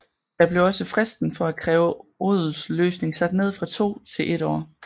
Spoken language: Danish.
Da blev også fristen for at kræve odelsløsning sat ned fra to til et år